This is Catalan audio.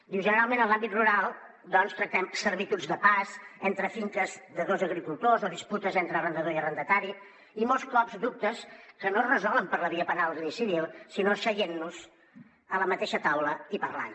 diu generalment en l’àmbit rural tractem servituds de pas entre finques de dos agricultors o disputes entre arrendador i arrendatari i molts cops dubtes que no es resolen per la via penal i civil sinó asseient nos a la mateixa taula i parlant